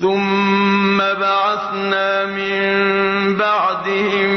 ثُمَّ بَعَثْنَا مِن بَعْدِهِم